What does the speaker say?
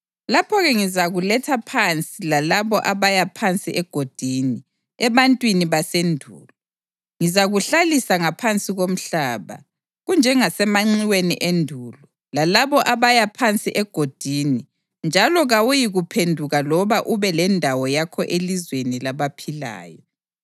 lapho-ke ngizakuletha phansi lalabo abaya phansi egodini, ebantwini basendulo. Ngizakuhlalisa ngaphansi komhlaba, kunjengasemanxiweni endulo, lalabo abaya phansi egodini, njalo kawuyikuphenduka loba ube lendawo yakho elizweni labaphilayo.